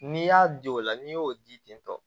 N'i y'a di o la n'i y'o di tɔ